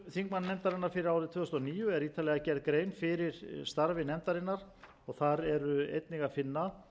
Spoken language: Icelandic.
þingmannanefndarinnar fyrir árið tvö þúsund og níu er ítarlega gerð grein fyrir starfi nefndarinnar og þar er einnig að finna stuttar